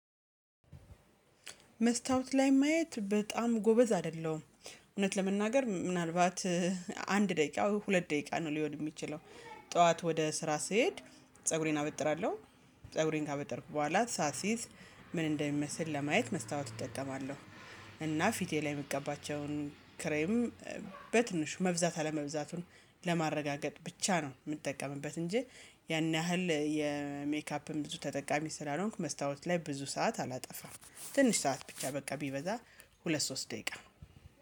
መስታወት ላይ ማየት በጣም ጎበዝ አይደለሁም እውነት ለመናገር ምናልባት እ አንድ ደቂቃ ወይ ሁለት ደቂቃ ነው ሊሆን ሚችለው። ጠዋት ወደ ስራ ስሄድ። ፀጉሬን አበጥራለሁ ፀጉሬን ካበጠርኩ በኋላ ሳሲዝ ምን እንደሚመስል ለማየት መስታወት እጠቀማለሁ። እና ፊቴ ላይ ምቀባቸውን ክሬም በትንሽ መብዛት አለመብዛቱን ለማረጋገጥ ብቻ ነው ምጠቀምበት እንጂ ያን ያህል የሜካፕም ብዙ ተጠቃሚ ስላልሆንኩ መስታወት ላይ ብዙ ሰዓት አላጠፋም። ትንሽ ሰዓት ብቻ በቃ ቢበዛ ሁለት ሶስት ደቂቃ